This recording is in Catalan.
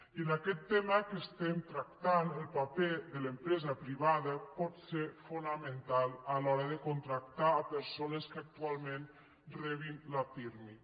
i en aquest tema que estem tractant el paper de l’empresa privada pot ser fonamental a l’hora de contractar persones que actualment rebin la pirmi